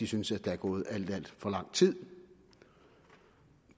synes at der er gået alt alt for lang tid